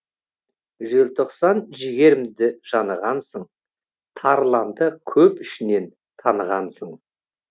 желтоқсан жігерімді жанығансың тарланды көп ішінен танығансың